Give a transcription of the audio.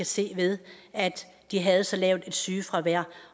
se ved at de havde så lavt et sygefravær